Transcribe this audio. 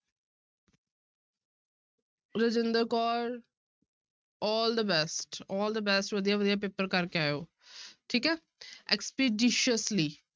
Rajinder Kaur all the best, all the best ਵਧੀਆ ਵਧੀਆ paper ਕਰਕੇ ਆਇਓ ਠੀਕ ਹੈ expeditiously